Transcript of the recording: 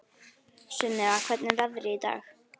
Sunnefa, hvernig er veðrið í dag?